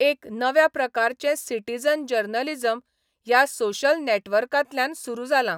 एक नव्या प्रकारचें सिटिझन जर्नलिजम ह्या सोशल नॅटवर्कातल्यान सुरू जालां.